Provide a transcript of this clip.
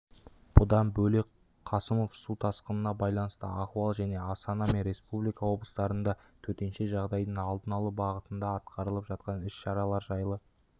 бұдан бөлек қасымов су тасқынына байланысты ахуал және астана мен республика облыстарында төтенше жағдайдың алдын алу бағытында атқарылып жатқан іс-шаралар жайлы